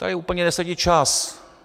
Tady úplně nesedí čas.